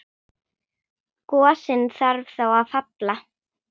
Gosinn þarf þá að falla.